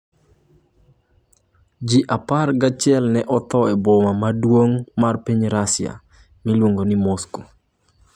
Ji apar gi achiel nene otho e boma maduong' mar piny Russia, Moscow